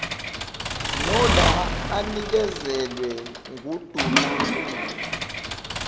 nola anikezelwe ngundunankulu